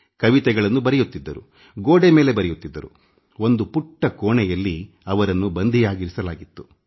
ಅವರುಗೋಡೆ ಮೇಲೆ ಕವಿತೆಗಳನ್ನು ಬರೆಯುತ್ತಿದ್ದರು ಒಂದು ಪುಟ್ಟ ಕೋಣೆಯಲ್ಲಿ ಅವರನ್ನು ಸೆರೆ ಹಾಕಲಾಗಿತ್ತು